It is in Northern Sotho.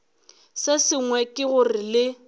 se sengwe ke gore le